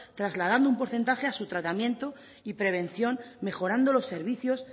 trasladando un porcentaje a su tratamiento y prevención mejorando los servicios